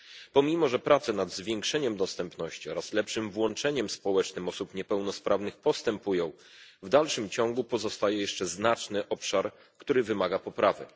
Pomimo że prace nad zwiększeniem dostępności oraz lepszym włączeniem społecznym osób niepełnosprawnych postępują, w dalszym ciągu pozostaje jeszcze znaczny obszar, który wymaga poprawy.